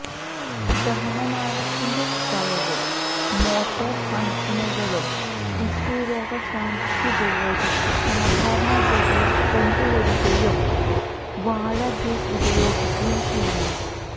ദഹനനാളത്തിന്റെ സ്രവവും മോട്ടോർ ഫങ്ഷനുകളും ടിഷ്യു രോഗശാന്തിക്കുപയോഗിച്ച് സാധാരണഗതിയിൽ കൊണ്ടുവരികയും വാഴ ജ്യൂസ് ഉപയോഗിക്കുകയും ചെയ്യുന്നു